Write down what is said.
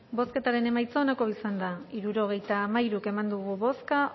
bozketaren emaitza onako izan da hirurogeita hamairu eman dugu bozka